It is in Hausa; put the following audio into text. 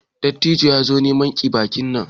Dattijon ya zo neman ki baki nan.